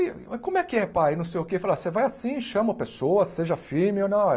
E ele mas como é que é pai, não sei o que, fala, você vai assim, chama a pessoa, seja firme ou não